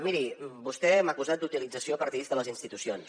miri vostè m’ha acusat d’utilització partidista de les institucions